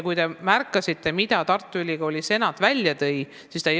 Kas te märkasite, mida Tartu Ülikooli senat välja tõi?